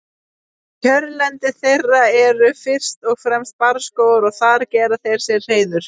Kjörlendi þeirra eru fyrst og fremst barrskógar og þar gera þeir sér hreiður.